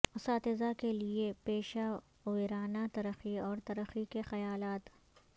اساتذہ کے لئے پیشہ ورانہ ترقی اور ترقی کے خیالات